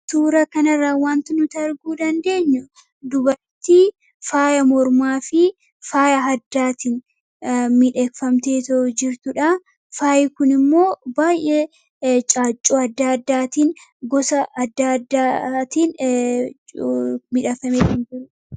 Suuraa kana irraa waanti nuti arguu dandeenyu dubartii faaya mormaa fi faaya addaatiin miidhagfamtee jirtudha. Faayi kunis caaccuu adda addaatii fi gosa adda addaatiin miidhagfamee kan jirudha.